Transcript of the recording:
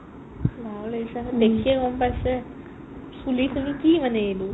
ভাগৰ লাগিছে দেখিয়ে গম পাইছে চুলি খিনি কি মানে এইবোৰ ?